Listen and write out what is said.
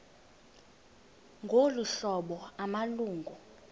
ngolu hlobo amalungu